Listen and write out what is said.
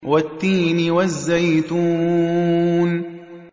وَالتِّينِ وَالزَّيْتُونِ